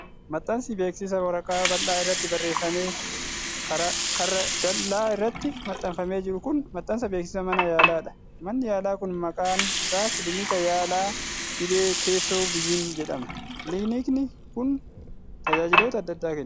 Maxxansi beeksisaa waraqaa bal'aa irratti barreeffamee karra dal'aa irratti maxxanfamee jiru kun, maxxansa beeksisa mana yaalaa dha. Manni yaalaa kun maqaan isaa Kilinika Yaala Dhibee Keessoo Vizhinii jedhama. Kilinikni kun, tajaajiloota adda addaa kenna.